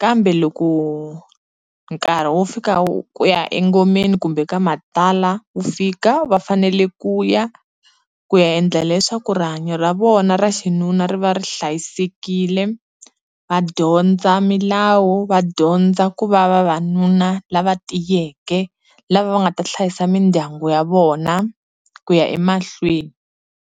kambe loko nkarhi wo fika wa ku ya engomeni kumbe ka matlala wu fika, va fanele ku ya, ku ya endla leswaku rihanyo ra vona ra xinuna ri va ri hlayisekile, va dyondza milawu, va dyondza ku va vavanuna lava tiyeke lava va nga ta hlayisa mindyangu ya vona ku ya emahlweni.